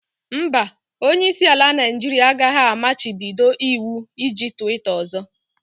Mba, Onye isi ala Naijiria agaghị amachibido iwu iji twitter ọzọ.